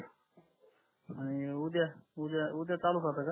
आणि उद्या उद्या उद्या चालू ठेवता का